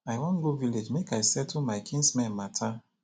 i wan go village make i settle my kinsmen matter